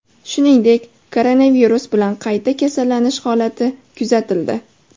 Shuningdek, koronavirus bilan qayta kasallanish holati kuzatildi .